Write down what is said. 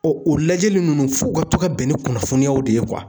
Ɔ o lajɛli nunnu f'u ka to ka bɛn ni kunnafoniyaw de ye kuwa